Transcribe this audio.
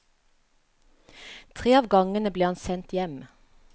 Tre av gangene ble han sendt hjem.